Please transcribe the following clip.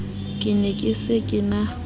ke ne ke se na